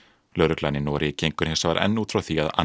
lögreglan í Noregi gengur hins vegar enn út frá því að